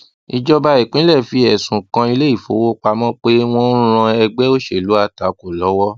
ìjọba ìpínlè fi ẹsùn kan iléifówopámọ pé wọn ń ran ẹgbẹ òṣèlú àtakò lọwọ